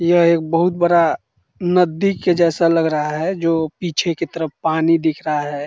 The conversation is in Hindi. यह एक बहुत बड़ा नद्दी के जैसा लग रहा है जो पीछे की तरफ पानी दिख रहा है।